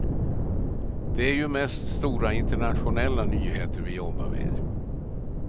Det är ju mest stora internationella nyheter vi jobbar med.